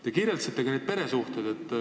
Te puudutasite ka peresuhteid.